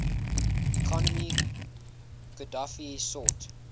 economy qadhafi sought